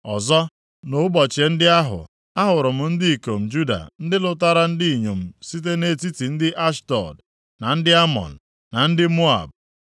Ọzọ, nʼụbọchị ndị ahụ a hụrụ m ndị ikom Juda ndị lụtara ndị inyom site nʼetiti ndị Ashdọd, na ndị Amọn, na ndị Moab,